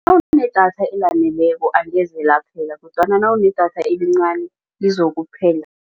Nawunedatha elaneleko angeze laphela kodwana nawunedatha elincani lizokuphela.